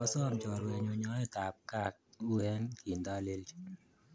Kwasom chorwennyu nyoet ap kat ue kindalelchi.